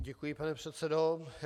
Děkuji, pane předsedo.